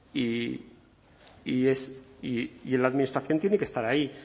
y la administración tiene que estar ahí